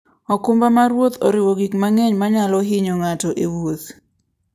okumba mar wuoth oriwo gik mang'eny manyalo hinyo ng'ato e wuoth.